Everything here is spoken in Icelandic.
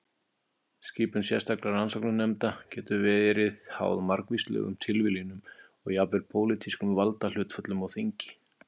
Skipun sérstakra rannsóknarnefnda getur verið háð margvíslegum tilviljunum og jafnvel pólitískum valdahlutföllum á þingi.